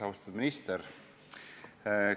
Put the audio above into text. Austatud minister!